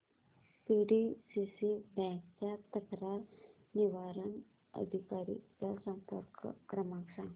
PDCC bank च्या तक्रार निवारण अधिकारी चा संपर्क क्रमांक सांग